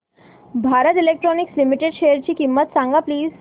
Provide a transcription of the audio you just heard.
Bharat electronics limited शेअरची किंमत सांगा प्लीज